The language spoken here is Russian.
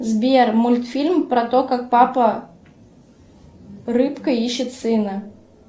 сбер мультфильм про то как папа рыбка ищет сына